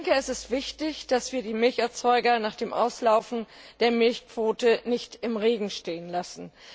Es ist wichtig, dass wir die Milcherzeuger nach dem Auslaufen der Milchquote nicht im Regen stehen lassen.